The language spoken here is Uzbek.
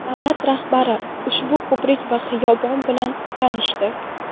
Davlat rahbari ushbu ko‘prik va xiyobon bilan tanishdi.